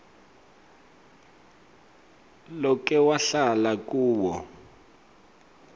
loke wahlala kuwo